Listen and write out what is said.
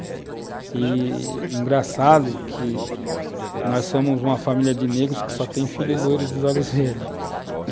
E, engraçado que, nós somos uma família de negros que só tem filhos loiros dos olhos verdes.